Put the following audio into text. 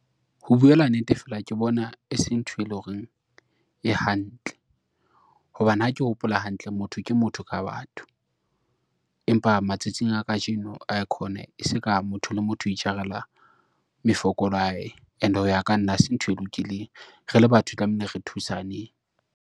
Ho buela nnete, fela ke bona e seng ntho e lo reng e hantle hobane, ha ke hopola hantle motho ke motho ka batho. Empa matsatsing a kajeno aikhona e se ka motho le motho o itjarela mefokolo ya hae and-e ho ya ka nna hase ntho e lokileng, re le batho tlamehile re thusaneng.